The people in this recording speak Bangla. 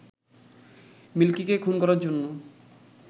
মিল্কিকে খুন করার জন্য